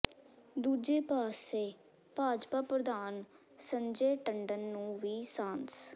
ਦੂਜੇ ਪਾਸੇ ਭਾਜਪਾ ਪ੍ਰਧਾਨ ਸੰਜੈ ਟੰਡਨ ਨੂੰ ਵੀ ਸਾਂਸ